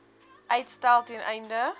uitstel ten einde